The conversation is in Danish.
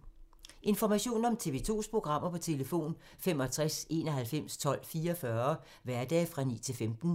Information om TV 2's programmer: 65 91 12 44, hverdage 9-15.